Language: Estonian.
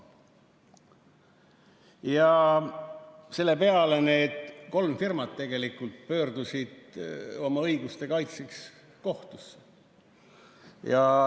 Selle peale kolm firmat tegelikult pöördusid oma õiguste kaitseks kohtusse.